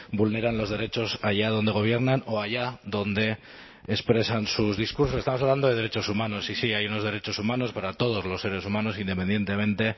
vulneran los derechos allá donde gobiernan o allá donde expresan sus discursos estamos hablando de derechos humanos sí sí hay unos derechos humanos para todos los seres humanos independientemente